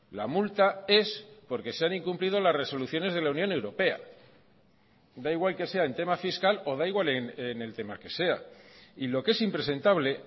la multa es porque se han incumplido las resoluciones de la unión europea da igual que sea en tema fiscal o da igual en el tema que sea y lo que es impresentable